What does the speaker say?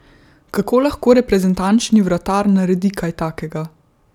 Kako lahko reprezentančni vratar naredi kaj takega?